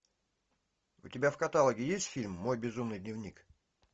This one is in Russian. у тебя в каталоге есть фильм мой безумный дневник